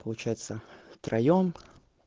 получается втроём